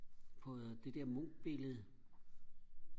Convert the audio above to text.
på det der "mo" billede